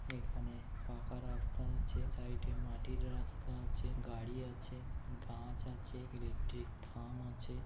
এখানে পাকা রাস্তা আছে। সাইডে -এ মাটির রাস্তা আছে। গাড়ি আছে। গাছ আছে। ইলেকট্রিক থাম আছে।